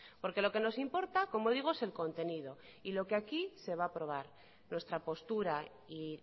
porque lo que nos importa como digo es el contenido y lo que aquí se va a aprobar nuestra postura y